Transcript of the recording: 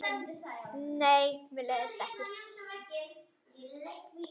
Nei, mér leiðist ekki.